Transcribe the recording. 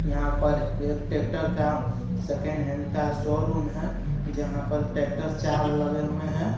यहाँ पर एक टेक्टर का सैकेंड हैंड का शोरूम हे जहा पर टेक्टर चार लगे हुए हे.